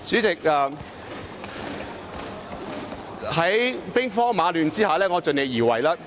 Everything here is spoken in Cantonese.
在兵荒馬亂的情況下，我會盡力而為。